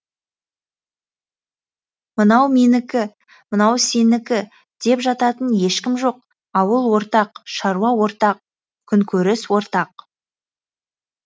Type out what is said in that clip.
мынау менікі мынау сенікі деп жататын ешкім жоқ ауыл ортақ шаруа ортақ күнкөріс ортақ